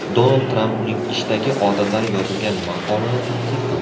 Donald Tramp uning ishdagi odatlari yozilgan maqolani tanqid qildi.